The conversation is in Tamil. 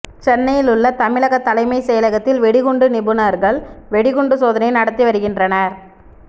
சென்னையில் உள்ள தமிழக தலைமைச் செயலகத்தில் வெடிகுண்டு நிபுணர்கள் வெடிகுண்டு சோதனை நடத்தி வருகின்றனர்